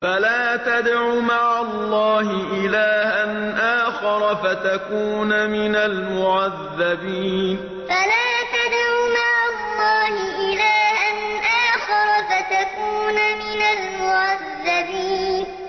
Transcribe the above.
فَلَا تَدْعُ مَعَ اللَّهِ إِلَٰهًا آخَرَ فَتَكُونَ مِنَ الْمُعَذَّبِينَ فَلَا تَدْعُ مَعَ اللَّهِ إِلَٰهًا آخَرَ فَتَكُونَ مِنَ الْمُعَذَّبِينَ